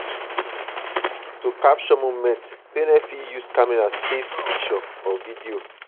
to capture moments parents fit use camera take video or picture